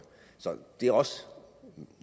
så det er også